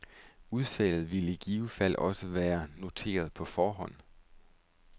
Udfaldet ville i givet fald også være noteret på forhånd.